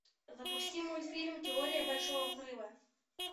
запусти мультфильм теория большого взрыва